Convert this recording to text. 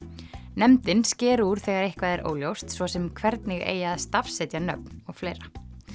nefndin sker úr þegar eitthvað er óljóst svo sem hvernig eigi að stafsetja nöfn og fleira